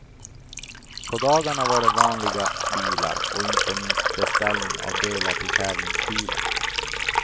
På dagarna var det vanliga bilar och inte minst beställning av delar till tävlingsbilen.